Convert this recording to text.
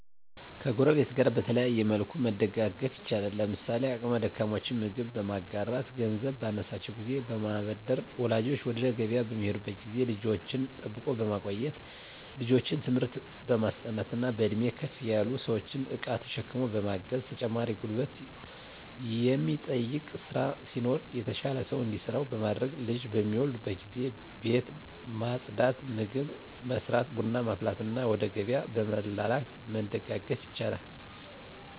ከጎረቤት ጋር በተለያየ መልኩ መደጋገፍ ይቻላል። ለምሳሌ አቅመ ደካሞችን ምግብ በማጋራት ገንዘብ ባነሳቸው ጊዜ በማበደር ወላጆች ወደ ገቢያ በሚሄዱበት ጊዜ ልጅን ጠብቆ በማቆየት ልጆችን ትምህርት በማስጠናት በእድሜ ከፍ ያሉ ሰዎችን እቃ ተሸክሞ በማገዝ ተጨማሪ ጉልበት የሚጠይቅ ስራ ሲኖር የተሻለ ሰው እንዲሰራው በማድረግ ልጅ በሚወልዱበት ጊዜ ቤት ማፅዳት ምግብ መስራት ቡና ማፍላትና ወደ ገቢያ በመላላክ መደጋገፍ ይቻላል።